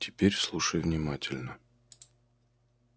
теперь слушай внимательно